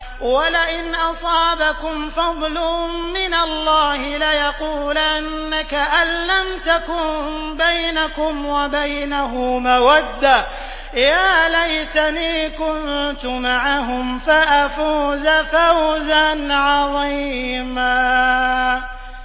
وَلَئِنْ أَصَابَكُمْ فَضْلٌ مِّنَ اللَّهِ لَيَقُولَنَّ كَأَن لَّمْ تَكُن بَيْنَكُمْ وَبَيْنَهُ مَوَدَّةٌ يَا لَيْتَنِي كُنتُ مَعَهُمْ فَأَفُوزَ فَوْزًا عَظِيمًا